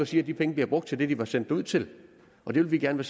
siger at de penge bliver brugt til det de var sendt derud til og det vil vi gerne